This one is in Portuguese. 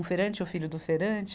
Um feirante, o filho do feirante,